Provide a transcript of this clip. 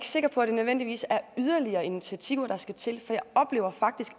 sikker på at det nødvendigvis er yderligere initiativer der skal til for jeg oplever faktisk